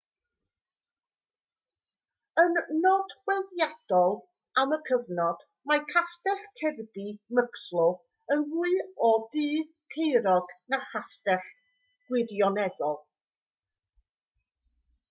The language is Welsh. yn nodweddiadol am y cyfnod mae castell kirby muxloe yn fwy o dŷ caerog na chastell gwirioneddol